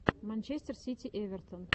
манчестер сити эвертон